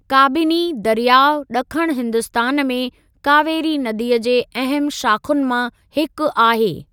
काबिनी दरियाअ ॾखणु हिन्दुस्तान में कावेरी नदीअ जे अहमु शाख़ुनि मां हिकु आहे।